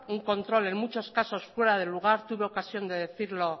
un control en muchos casos fuera de lugar tuve ocasión de decirlo